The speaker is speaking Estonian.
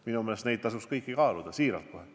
Minu meelest neid võimalusi tasuks kõiki kaaluda – siiralt kohe.